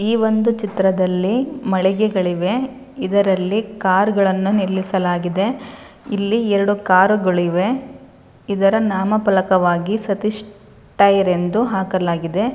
ಈ ಒಂದು ಚಿತ್ರದಲ್ಲಿ ಮಳಿಗೆಗಳಿವೆ. ಇದರಲ್ಲಿ ಕಾರ್ಗ ಳನ್ನು ನಿಲ್ಲಿಸಲಾಗಿದೆ. ಇಲ್ಲಿ ಎರಡು ಕಾರು ಗಳಿವೆ. ಇದರ ನಾಮಪಲಕವಾಗಿ ಸತೀಶ್ ಟೈರ್ ಎಂದು ಹಾಕಲಾಗಿದೆ.